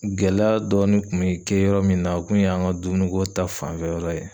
Gɛlɛya dɔɔni kun be kɛ yɔrɔ min na ,o kun ye an ka dumuni ko ta fanfɛ yɔrɔ ye.